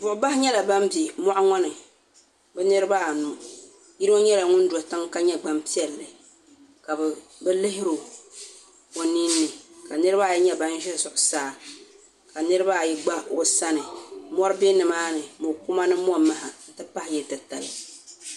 boɣibahi nyɛla bani bɛ moɣ' ŋɔ ni bɛ niribaanu yili nyɛla ŋɔ do tɛga ka nyɛ gbani piɛli ka be lihiro o nini ka niribaayi nyɛ bani ʒɛ zuɣisaa ka niribaayi gba o sani mori bɛ nimaani mokuma ni momaha m ti pahi yili ti tali